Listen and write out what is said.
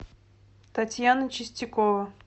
татьяна чистякова